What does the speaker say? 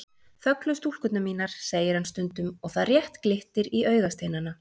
Þöglu stúlkurnar mínar, segir hann stundum og það rétt glittir í augasteinana.